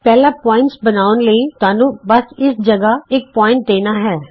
ਪਹਿਲਾਂ ਬਿੰਦੂ ਬਣਾਉਣ ਲਈ ਤੁਹਾਨੂੰ ਬਸ ਇਸ ਤਰ੍ਹਾਂ ਇਕ ਬਿੰਦੂ ਦੇਣਾ ਹੈ